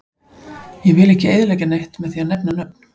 Ég vill ekki eyðileggja neitt með því að nefna nöfn.